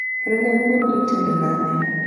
ring anguro itedo nade